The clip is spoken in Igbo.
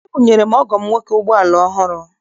Ebunyere m ọgọ m nwoke ụgbọala ọhụrụ.